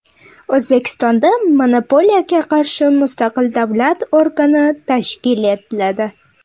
O‘zbekistonda monopoliyaga qarshi mustaqil davlat organi tashkil etiladi.